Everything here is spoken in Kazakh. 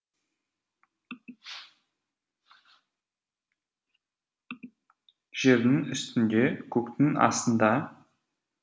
жердің үстінде көктің астында